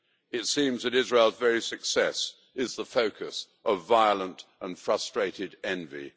It seems that Israel's very success is the focus of violent and frustrated envy.